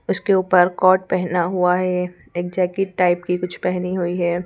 उसके ऊपर कॉट पहना हुआ है एक जैकेट टाइप की कुछ पहनी हुई है।